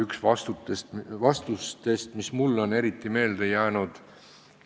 See on üks vastustest, mis mulle on eriti meelde jäänud.